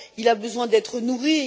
Il a besoin d'être nourri